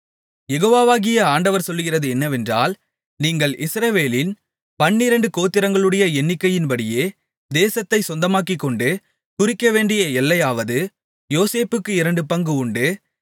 யெகோவாகிய ஆண்டவர் சொல்லுகிறது என்னவென்றால் நீங்கள் இஸ்ரவேலின் பன்னிரண்டு கோத்திரங்களுடைய எண்ணிக்கையின்படியே தேசத்தைச் சொந்தமாக்கிக்கொண்டு குறிக்கவேண்டிய எல்லையாவது யோசேப்புக்கு இரண்டு பங்கு உண்டு